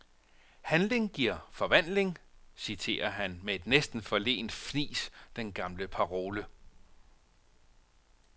Handling giver forvandling, citerer han med et næsten forlegent fnis den gamle parole.